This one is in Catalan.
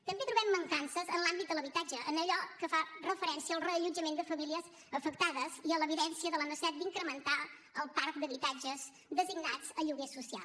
també trobem mancances en l’àmbit de l’habitatge en allò que fa referència al reallotjament de famílies afectades i a l’evidència de la necessitat d’incrementar el parc d’habitatges designats a lloguer social